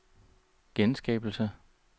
genskabelse